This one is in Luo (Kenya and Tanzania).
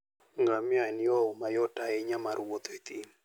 Ngamia en yo mayot ahinya mar wuoth e thim.